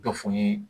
Dɔ fɔ n ye